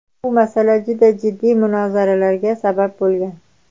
Bu masala juda jiddiy munozaralarga sabab bo‘lgan.